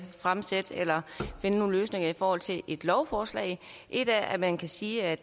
finde nogle løsninger i forhold til et lovforslag et er at man kan sige at